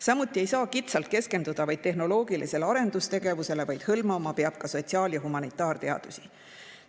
Samuti ei saa kitsalt keskenduda vaid tehnoloogilisele arendustegevusele, vaid hõlmama peab ka sotsiaal- ja humanitaarteadusi.